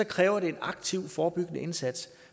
kræver det en aktiv forebyggende indsats